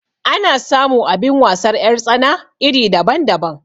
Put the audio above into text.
Ana samu abin wasar 'yar tsana iri daban daban